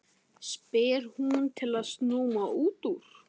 spyr hún til að snúa út úr.